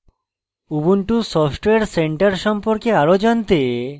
ubuntu software center সম্পর্কে আরও জানতে